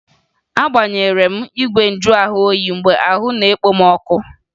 Agbaghere m igwe njuahụoyi mgbe ahụ nọ na-ekpo m ọkụ